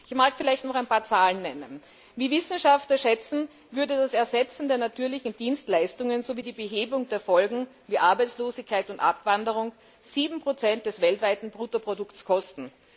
Ich möchte noch ein paar Zahlen nennen Wie Wissenschaftler schätzen, würde das Ersetzen der natürlichen Dienstleistungen sowie die Behebung der Folgen wie Arbeitslosigkeit und Abwanderung 7 des weltweiten Bruttoprodukts kosten.